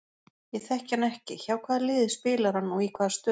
Ég þekki hann ekki, hjá hvaða liði spilar hann og í hvaða stöðu?